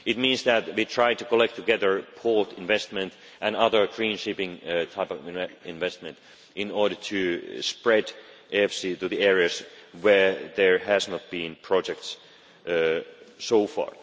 This means that we try to collect together port investment and other green shipping types of investment in order to spread EFSI to the areas where there have not been any projects so far.